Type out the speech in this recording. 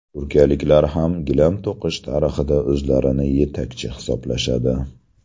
Turkiyaliklar ham gilam to‘qish tarixida o‘zlarini yetakchi hisoblashadi.